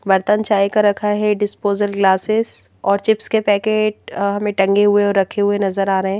बर्तन चाय का रखा है डिस्पोजल ग्लासेस और चिप्स के पैकेट हमें टंगे हुए और रखे हुए नजर आ रहे हैं।